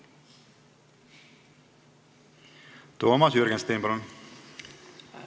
Toomas Jürgenstein, palun!